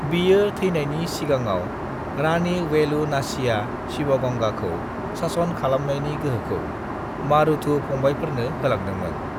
बियो थैनानयनि सिगाङाव रानि वेलु नाचिया सिवागांगाखौ सासन खालामनायनि गोहोखौ मारुथु पङबायफोरनो होलांदोंमोन।